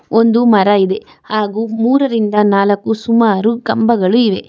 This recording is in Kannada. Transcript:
ಒಂದು ಮರ ಇದೆ ಹಾಗು ಮುರರಿಂದ ನಾಲಕು ಸುಮಾರು ಕಂಬಗಳು ಇವೆ.